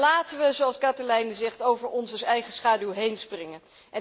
Maar laten we, zoals Kathalijne zegt, over onze eigen schaduw heen springen.